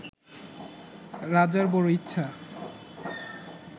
রাজার বড় ইচ্ছা